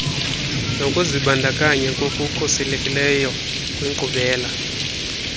nokuzibandakanya ngokukhutheleyo kwinkqubela